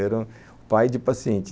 Era o pai de paciente.